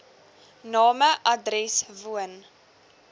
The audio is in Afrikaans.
name adres woon